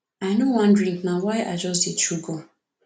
i no wan drink na why i just dey chew gum